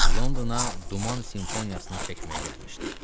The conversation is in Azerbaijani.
Londona duman simfoniyasını çəkməyə gəlmişdi.